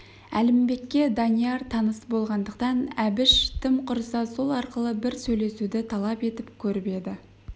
әлімбекке данияр таныс болғандықтан әбіш тым құрса сол арқылы бір сөйлесуді талап етіп көріп еді